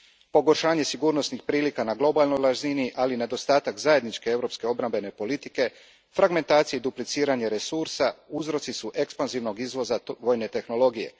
Pogoršanje sigurnosnih prilika na globalnoj razini, ali nedostatak zajedničke europske obrambene politike, fragmentacija i dupliciranje resursa uzroci su ekspanzivnog izvoza vojne tehnologije.